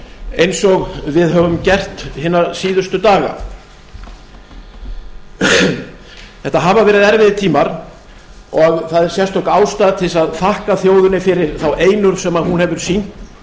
eins og við höfum gert hina síðustu daga þetta hafa verið erfiðir tímar og það er sérstök ástæða til þess að þakka þjóðinni fyrir þá einurð sem hún hefur sýnt